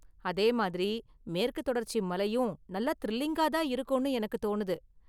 அதே மாதிரி மேற்குத் தொடர்ச்சி மலையும் நல்லா திரில்லிங்கா தான் இருக்கும்னு எனக்குத் தோணுது.